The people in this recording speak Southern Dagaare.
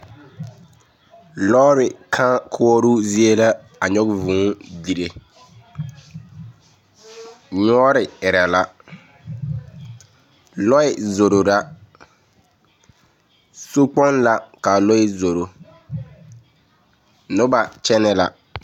Lɔɔre kãã koɔroo zie la a nyɔge vŭŭ dire. Nyoore erɛ la, lɔɛ zoro la, sokpoŋ la k'a lɔɛ zoro, noba kyɛnɛ la.